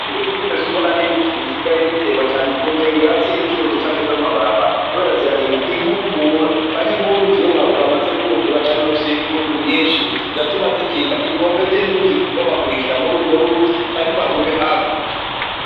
Ibiti vyimi suna n'ibiti bisigaye biterwa cane ku nkengera zu ruzi canke za mabarabara kuko zirarinda inkukura canke nku ruzi iyo rwamaze kuzura canke rufise inguvu nyishi ziratuma zirinda inkombe zi nzuzi kubomagurikira muri urwo ruzi canke ngo hagume haguka.